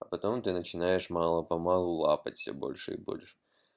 а потом ты начинаешь мало-помалу лапоть все больше и больше